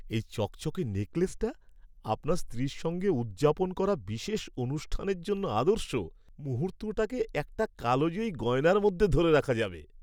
এই চকচকে নেকলেসটা আপনার স্ত্রীর সঙ্গে উদযাপন করা বিশেষ অনুষ্ঠানের জন্য আদর্শ, মুহূর্তটাকে একটা কালজয়ী গয়নার মধ্যে ধরে রাখা যাবে।